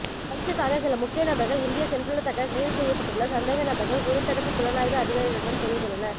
பயிற்சிக்காக சில முக்கிய நபர்கள் இந்திய சென்றுள்ளத்தக்க கைதுசெய்யப்பட்டுள்ள சந்தேக நபர்கள் குற்றத்ததடுப்பு புலனாய்வு அதிகாரிகளிடம் தெரிவித்துள்ளனர்